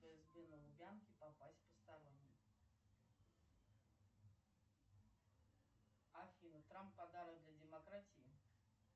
попасть посторонние афина трамп подарок для демократии